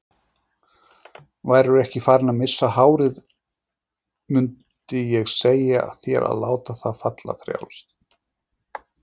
Værirðu ekki farinn að missa hárið mundið ég segja þér að láta það falla frjálst.